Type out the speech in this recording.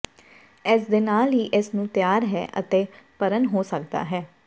ਇਸ ਦੇ ਨਾਲ ਹੀ ਇਸ ਨੂੰ ਤਿਆਰ ਹੈ ਅਤੇ ਭਰਨ ਹੋ ਸਕਦਾ ਹੈ